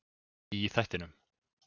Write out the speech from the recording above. Í þættinum.